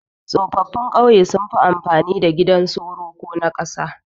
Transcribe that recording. Tsofaffin kauye sunfi amfani da gidan soro ko na kasa